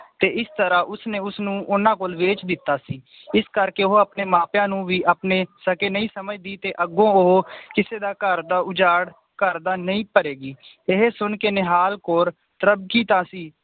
ਤੇ ਇਸ ਤਰਾਹ ਉਸ ਨੇ ਉਸਨੂੰ ਉਹਨਾਂ ਕੋਲ ਵੇਚ ਦਿੱਤਾ ਸੀ ਇਸ ਕਰਕੇ ਉਹ ਆਪਣੇ ਮਾਂ ਪੇਯਾ ਨੂੰ ਵੀ ਆਪਣੇ ਸਕੇ ਨਈ ਸਮਝਦੀ ਤੇ ਅੱਗੋਂ ਉਹ ਕਿਸੇ ਦਾ ਘਰ ਦਾ ਉਜਾੜ ਘਰ ਦਾ ਨਈ ਭਰੇਗੀ ਇਹ ਸੁਨ ਕੇ ਨਿਹਾਲ ਕੌਰ